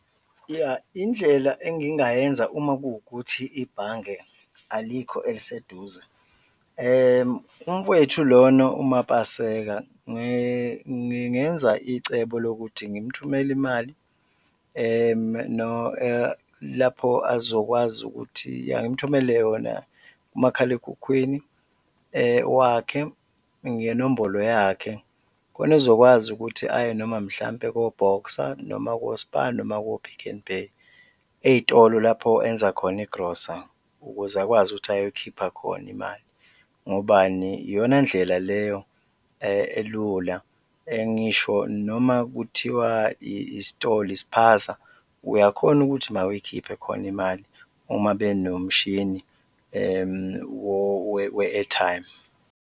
Yah, indlela engingayenza uma kuwukuthi ibhange alikho eliseduze, umfowethu lona uMapaseka ngingenza icebo lokuthi ngimthumele imali lapho azokwazi ukuthi yah, ngimthumele yona kumakhalekhukhwini wakhe ngenombolo yakhe khona ezokwazi ukuthi aye noma mhlawumbe ko-Boxer noma ko-Spar noma ko-Pick n Pay, ey'tolo lapho enza khona igrosa ukuze akwazi ukuthi ayokhipha khona imali. Ngobani? Iyona ndlela leyo elula ngisho noma kuthiwa isitolo, ispaza, uyakhona ukuthi nawe uyikhiphe khona imali uma benomshini we-airtime.